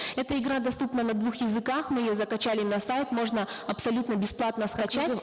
эта игра доступна на двух языках мы ее закачали на сайт можно абсолютно бесплатно скачать